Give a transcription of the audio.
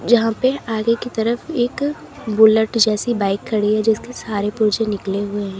जहां पे आगे की तरफ एक बुलेट जैसी बाइक खड़ी है जिसके सारे पुर्जे निकले हुए हैं।